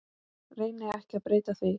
Reyni ekki að breyta því.